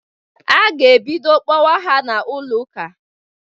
A ga-ebido kpọwa ha n'ụlọụka.